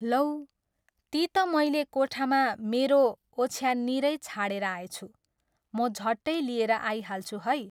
लौ, ती त मैले कोठामा मेरो ओछ्याननिरै छाडेर आएछु, म झट्टै लिएर आइहाल्छु है।